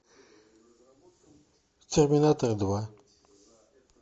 терминатор два